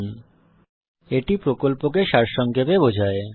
এটি কথ্য টিউটোরিয়াল প্রকল্পকে সারসংক্ষেপে বোঝায়